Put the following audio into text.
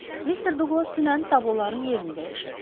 Mister Duqlas dünən tabloların yerini dəyişirdi.